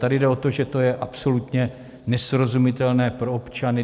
Tady jde o to, že to je absolutně nesrozumitelné pro občany.